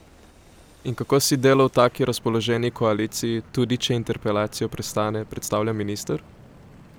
In kako si delo v tako razpoloženi koaliciji, tudi, če interpelacijo prestane, predstavlja minister?